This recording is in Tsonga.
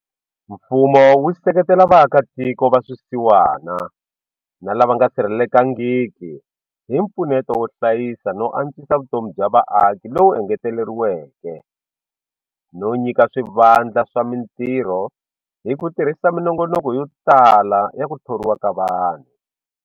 Mfumo wu seketela vaakatiko va swisiwana na lava nga sirhelelekangiki hi mpfuneto wo hlayisa no antswisa vutomi bya vaaki lowu engeteleriweke no nyika swivandlanene swa mitirho hi ku tirhisa minongonoko yotala ya ku thoriwa ka vanhu.